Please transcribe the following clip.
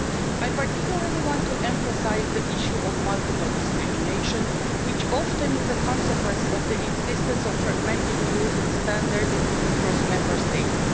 I particularly want to emphasise the issue of multiple discrimination, which is often a consequence of the existence of fragmented rules and standards across Member States.